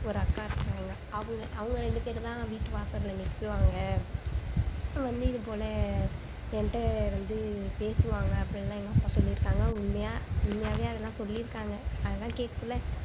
ஒரு அக்கா ஒருத்தவங்க அவங்க அவங்க ரெண்டு பேரு தான் வீட்டு வாசல்ல நிக்குவாங்க போல எங்கிட்ட வந்து பேசுவாங்க அப்படியெல்லாம் எங்க அப்பா வந்து சொல்லியிருக்காங்க உண்மையா உண்மையாவே அதெல்லாம் சொல்லி இருக்காங்க